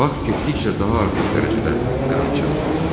Bak getdikcə daha artıq dərəcədə qan içən olurdu.